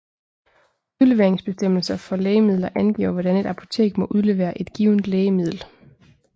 Udleveringsbestemmelser for lægemidler angiver hvordan et apotek må udlevere et givent lægemiddel